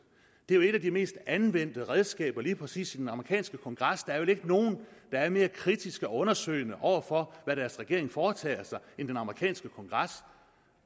det er jo et af de mest anvendte redskaber lige præcis i den amerikanske kongres der er vel ikke nogen der er mere kritiske og undersøgende over for hvad deres regering foretager sig end den amerikanske kongres